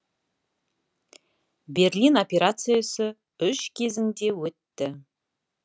берлин операциясы үш кезеңде өтті